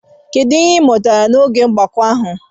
Kedu ihe ị mụtara n'oge ogbako ahụ?